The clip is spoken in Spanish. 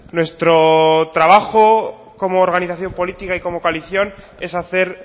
nuestro trabajo como organización política y como coalición es hacer